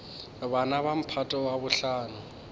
bana ba mphato wa bohlano